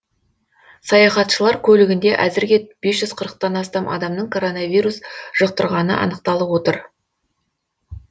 саяхатшылар көлігінде әзірге бес жүз қырықтан астам адамның коронавирус жұқтырғаны анықталып отыр